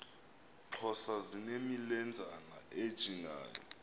xhosa zinemilenzana ejingayo